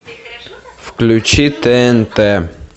включи тнт